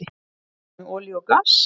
Hvað með olíu og gas?